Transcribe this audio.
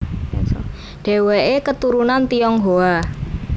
Dheweke keturunan Tionghoa